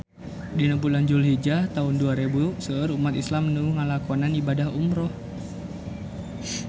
Dina bulan Julhijah taun dua rebu seueur umat islam nu ngalakonan ibadah umrah